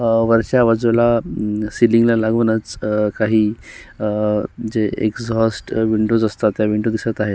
अ वरच्या बाजूला म सीलिंग ला लागूनच अ काही अ जे एक्झॉस्ट अ विंडोज् असतात त्या विंडो दिसत आहेत.